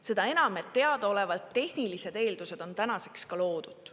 Seda enam, et teadaolevalt tehnilised eeldused on tänaseks ka loodud.